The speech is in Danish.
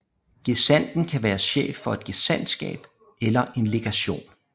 Gesandten kan være chef for et gesandtskab eller en legation